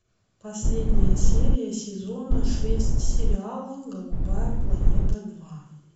последняя серия сезона шесть сериала голубая планета два